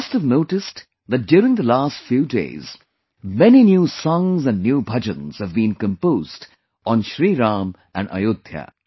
You must have noticed that during the last few days, many new songs and new bhajans have been composed on Shri Ram and Ayodhya